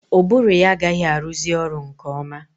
Ụbụrụ ya agaghị arụzi ọrụ nke ọma.